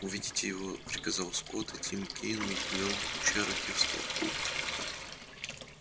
уведите его приказал скотт и тим кинен увёл чероки в толпу